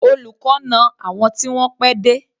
Olùkọ́ na àwọn tí wọ́n pẹ́ dé.